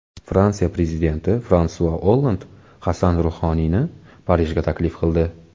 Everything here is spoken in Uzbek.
Fransiya prezidenti Fransua Olland Hasan Ruhoniyni Parijga taklif qildi.